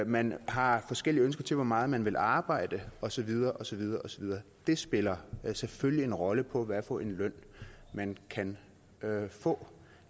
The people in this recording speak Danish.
man har forskellige ønsker til hvor meget man vil arbejde og så videre og så videre det spiller selvfølgelig en rolle for hvad for en løn man kan få